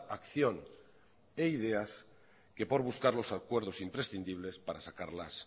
acción e ideas que por buscar los acuerdos imprescindibles para sacarlas